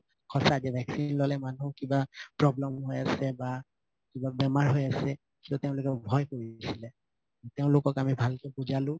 সচাঁ vaccine ললে মানুহ কিবা problem হৈ আছে বা কিবা বেমাৰ হৈ আছে সিহতে ভয় কৰি আছিলে তেওঁলোকক আমি ভালকে বুজালো